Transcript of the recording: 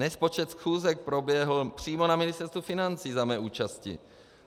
Nespočet schůzek proběhl přímo na Ministerstvu financí za mé účasti.